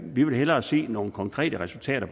vi vil hellere se nogle konkrete resultater